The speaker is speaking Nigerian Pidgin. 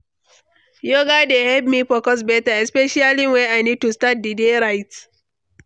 Yoga dey help me focus better, especially when I need to start the day right.